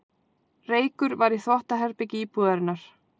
Reykur var í þvottaherbergi íbúðarinnar